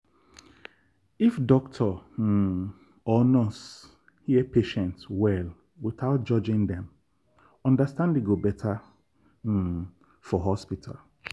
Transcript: if doctor um or nurse hear patient well without judging dem understanding go better um for hospital.